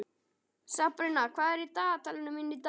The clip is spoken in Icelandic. Sabrína, hvað er í dagatalinu mínu í dag?